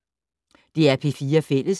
DR P4 Fælles